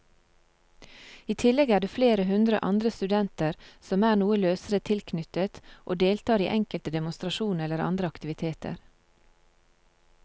I tillegg er det flere hundre andre studenter som er noe løsere tilknyttet og deltar i enkelte demonstrasjoner eller andre aktiviteter.